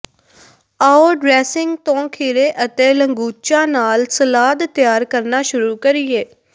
ਆਉ ਡਰੈਸਿੰਗ ਤੋਂ ਖੀਰੇ ਅਤੇ ਲੰਗੂਚਾ ਨਾਲ ਸਲਾਦ ਤਿਆਰ ਕਰਨਾ ਸ਼ੁਰੂ ਕਰੀਏ